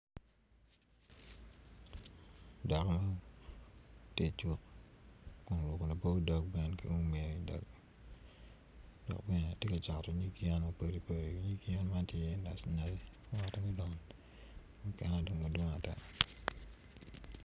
Dako tye icuk oruko labo dog ki um dok bene tye ka cato nyig yen mapadi padi nyig yen man tye nacinaci yaka dong madwomg Aya.